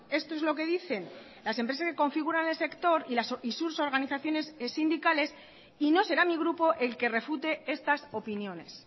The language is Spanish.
esto es lo que dicen las empresas que configuran el sector y sus organizaciones sindicales y no será mi grupo el que refute estas opiniones